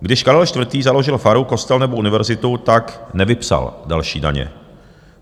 Když Karel IV. založil faru, kostel nebo univerzitu, tak nevypsal další daně.